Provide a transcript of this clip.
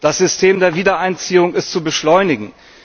Das System der Wiedereinziehung ist zu beschleunigen.